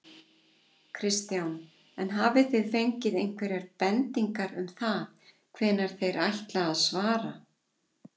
Kristján: En hafið þið fengið einhverjar bendingar um það hvenær þeir ætla að svara?